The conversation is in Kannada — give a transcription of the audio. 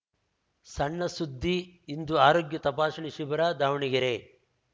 ಸಣ್ಣ ಸುದ್ದಿ ಇಂದು ಆರೋಗ್ಯ ತಪಾಸಣೆ ಶಿಬಿರ ದಾವಣಗೆರೆ